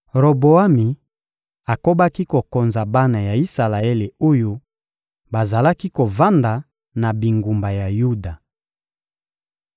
Roboami akobaki kokonza bana ya Isalaele oyo bazalaki kovanda na bingumba ya Yuda.